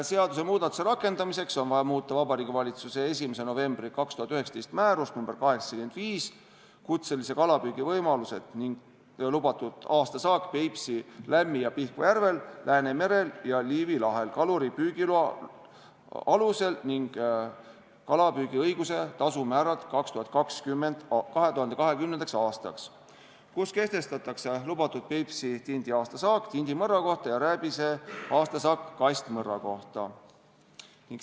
Seadusemuudatuse rakendamiseks on vaja muuta Vabariigi Valitsuse 1. novembri 2019. aasta määrust nr 85 "Kutselise kalapüügi võimalused ning lubatud aastasaak Peipsi, Lämmi- ja Pihkva järvel, Läänemerel ja Liivi lahel kaluri kalapüügiloa alusel ning kalapüügiõiguse tasumäärad 2020. aastaks", kus kehtestatakse lubatud Peipsi tindi aastasaak tindimõrra kohta ja rääbise aastasaak kastmõrra kohta.